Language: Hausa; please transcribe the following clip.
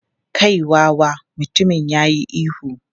"Kai wawa!" Mutumin ya yi ihu.